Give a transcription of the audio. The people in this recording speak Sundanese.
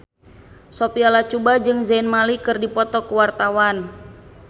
Sophia Latjuba jeung Zayn Malik keur dipoto ku wartawan